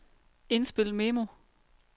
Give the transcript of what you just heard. indspil memo